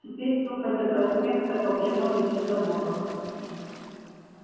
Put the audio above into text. теперь топать до проспекта по прямой без остановок